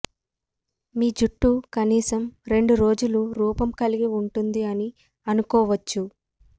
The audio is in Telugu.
మీ జుట్టు కనీసం రెండు రోజులు రూపం కలిగి ఉంటుంది అని అనుకోవచ్చు